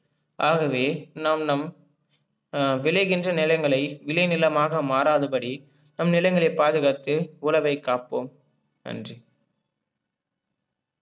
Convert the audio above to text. ஆகவே, நாம் நம் ஆஹ் விளைகின்ற நிலங்களை விளைநிலமாக மாறாதபடிநம் நிலங்களை பாதுகாத்து உழவை காப்போம். நன்றி.